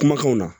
Kumakanw na